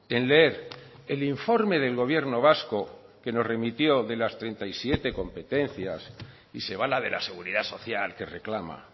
en leer el informe del gobierno vasco que nos remitió de las treinta y siete competencias y se va a la de la seguridad social que reclama